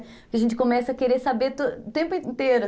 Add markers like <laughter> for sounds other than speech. Porque a gente começa a querer saber <unintelligible> o tempo inteiro.